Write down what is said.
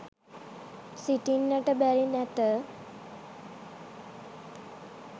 සිටින්නට බැරි නැත